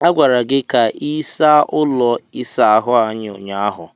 A gwara gị ka ị saa ụlọ ịsa ahu ahụ ụnyaahụ.